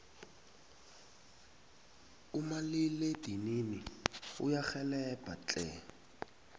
umalila edinini uyarhelbha tle